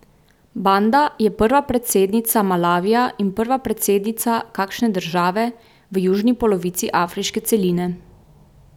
Banda je prva predsednica Malavija in prva predsednica kakšne države v južni polovici afriške celine.